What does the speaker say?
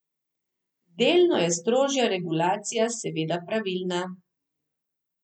Delno je strožja regulacija seveda pravilna.